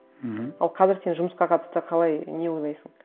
мхм ал қазір сен жұмысқа қатысты қалай не ойлайсың